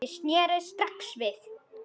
Ég sneri strax við.